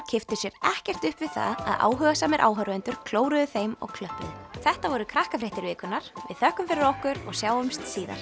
kipptu sér ekkert upp við það að áhugasamir áhorfendur klóruðu þeim og klöppuðu þetta voru Krakkafréttir vikunnar við þökkum fyrir okkur og sjáumst síðar